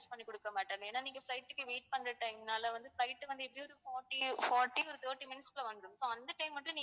பண்ணி கொடுக்க மாட்டோம் ஏன்னா நீங்க flight க்கு wait பண்ற time னால வந்து flight வந்து எப்படியும் forty forty ஒரு thirty minutes குள்ள வந்துடும் so அந்த time மட்டும்